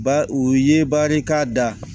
Ba u ye barika da